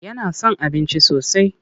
Yana son abinci sosai.